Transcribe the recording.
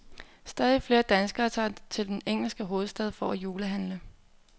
Stadig flere danskere tager til den engelske hovedstad for at julehandle.